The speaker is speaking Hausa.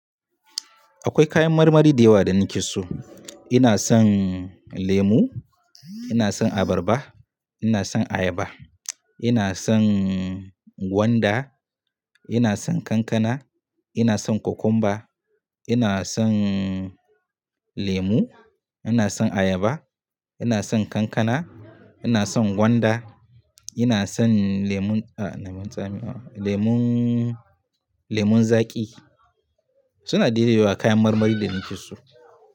Akwai kayan marmari da yawa da nake so. Ina son lemu, ina son abarba, ina son ayaba, ina son gwanda, ina son kankana, ina son kokumba, ina son lemu, ina son ayaba, ina son kankana, ina son gwanda, ina son lemon, ah na mun zame, lemon, lemon zaƙi suna daidai da wa kayan marmari da nake so.